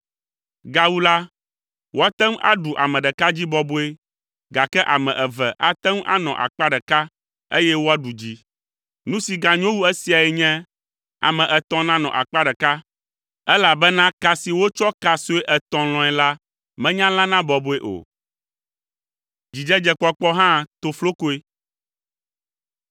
Gawu la, woate ŋu aɖu ame ɖeka dzi bɔbɔe gake ame eve ate ŋu anɔ akpa ɖeka eye woaɖu dzi. Nu si ganyo wu esiae nye, ame etɔ̃ nanɔ akpa ɖeka elabena ka si wotsɔ ka sue etɔ̃ lɔ̃e la menya lãna bɔbɔe o.